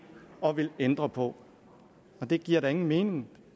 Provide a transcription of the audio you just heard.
og ændre på det giver da ingen mening